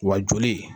Wa joli